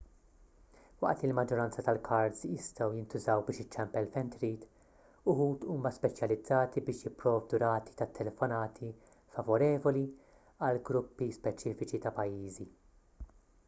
waqt li l-maġġoranza tal-kards jistgħu jintużaw biex iċċempel fejn trid uħud huma speċjalizzati biex jipprovdu rati tat-telefonati favorevoli għal gruppi speċifiċi ta' pajjiżi